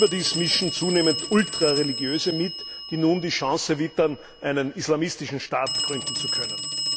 Überdies mischen zunehmend Ultrareligiöse mit, die nun die Chance wittern, einen islamistischen Staat gründen zu können.